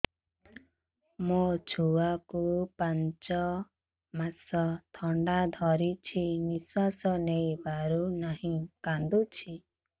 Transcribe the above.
ମୋ ଛୁଆକୁ ପାଞ୍ଚ ମାସ ଥଣ୍ଡା ଧରିଛି ନିଶ୍ୱାସ ନେଇ ପାରୁ ନାହିଁ କାଂଦୁଛି